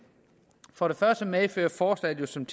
for det første medfører forslaget som